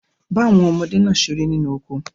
Ba won omode naa sere ninu oko